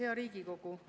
Hea Riigikogu!